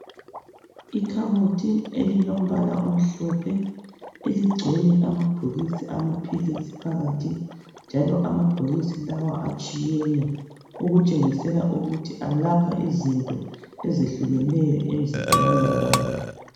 Ikhabothi elilombala omhlophe eligcwele amabhokisi amaphilisi phakathi njalo amabhokisi lawa atshiyene okutshengisela ukuthi alapha izinto ezehlukeneyo emzimbeni yabantu.